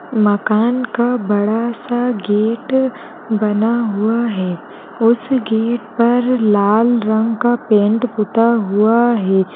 मकान का बड़ा सा गेट बना हुआ है उस गेट पर लाल रंग का पेंट पुता हुआ है |